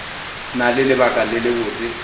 na le lebaka le lebotse